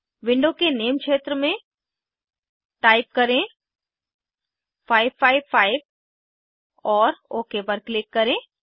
window के name क्षेत्र में टाइप करें 555 और ओक पर क्लिक करें